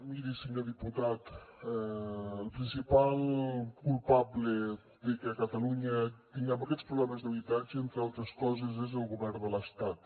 miri senyor diputat el principal culpable de que a catalunya tinguem aquests problemes d’habitatge entre altres coses és el govern de l’estat